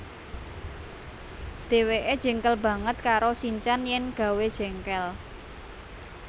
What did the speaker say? Dheweke jengkel banget karo sinchan yen gawé jengkel